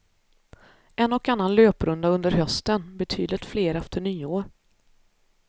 En och annan löprunda under hösten, betydligt fler efter nyår.